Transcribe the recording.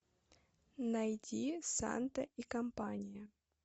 найди санта и компания